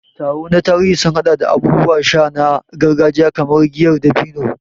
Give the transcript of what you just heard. Taro na tarihi sun haɗa da abubuwan sha na gargajiya kamar giyar dabino.